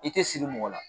I tɛ siri mɔgɔ la